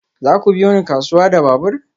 Za ku biyo ni kasuwa da babur?